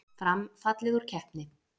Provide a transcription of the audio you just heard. Fram fallið úr keppni